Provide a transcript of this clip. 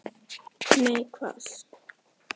Nei, hvað?